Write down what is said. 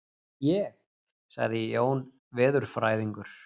Ég? sagði Jón veðurfræðingur.